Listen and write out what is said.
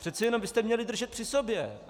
Přece jenom byste měli držet při sobě.